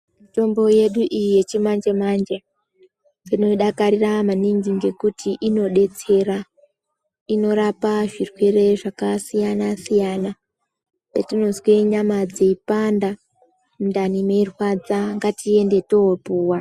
Mitombo yedu iyi yechimanje manje tinoidakarira maningi ngekuti inodetsera inorapa zvirwere zvakasiyana-siyana patinozwa nyama dzeipanda mundani meirwadza ngatiende topuwa.